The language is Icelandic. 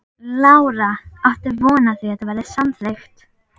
Lára: Áttu von á því að þetta verði samþykkt?